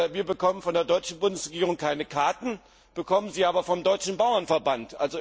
Wir bekommen von der deutschen Bundesregierung keine Karten, bekommen sie aber vom deutschen Bauernverband.